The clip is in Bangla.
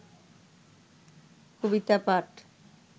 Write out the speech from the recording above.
কবিতা পাঠ